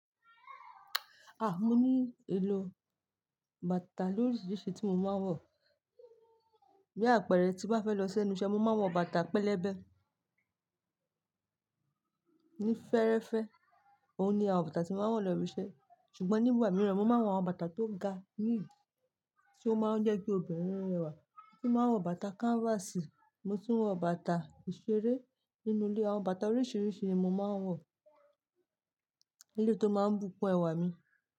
Ah! Mo ní ìlò bàtà lóríṣiríṣi tí mo máa ń wọ̀. Bí àpẹẹrẹ tí bá fẹ́ lọ sẹ́nu iṣẹ́, mo máa ń wọ bàtà pẹlẹbẹ. Ní fẹ́ẹ́rẹ́fẹ́, òun ni àwọn bàtà tí mo máa ń wọ̀ lọ ibise. Ṣùgbọ́n nígbà mìíràn, mo máa ń wọ àwọn bàtà tó ga níì, tí ó máa ń jẹ́ kí obìnrin rẹwà. Mo tún máa ń wọ bàtà canvas, mo tún wọ bàtà ìṣeré nínú ilé. Àwọn bàtà oríṣiríṣi ni mo máa ń wọ̀, eléto máa ń bùkún ẹwà mi.